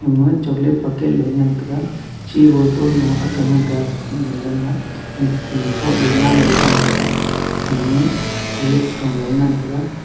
phangma chocolate packet loe ngan tega chi botol lo akga ngan tega under ma thropley namley thram tega ema horlicks tho loe ngan tega.